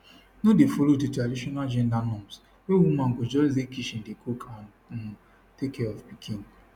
no dey follow di traditional gender norms wey woman go just dey kitchen dey cook and um take care of pikin